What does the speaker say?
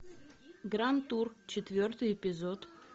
гранд тур четвертый эпизод